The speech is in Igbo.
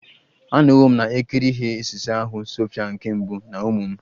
Anọwo m na-ekiri ihe osise ahụ Sophia nke mbụ na ụmụ m